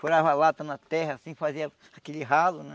Furava a lata na terra assim, fazia aquele ralo, né?